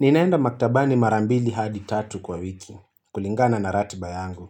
Ninaenda maktabani mara mbili hadi tatu kwa wiki kulingana na ratiba yangu.